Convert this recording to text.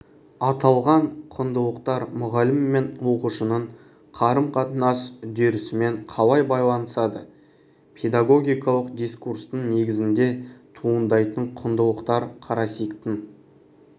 аталған құндылықтар мұғалім мен оқушының қарым-қатынас үдерісімен қалай байланысады педагогикалық дискурстың негізінде туындайтын құндылықтар карасиктің